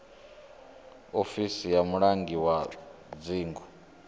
ofisi ya mulangi wa dzingu